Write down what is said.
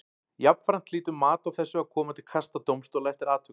Jafnframt hlýtur mat á þessu að koma til kasta dómstóla eftir atvikum.